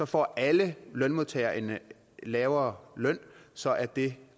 får alle lønmodtagere en lavere løn så er det